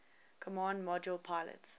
command module pilot